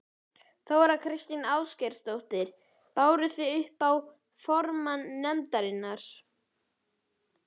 Þóra Kristín Ásgeirsdóttir: Báru þið þetta upp á formann nefndarinnar?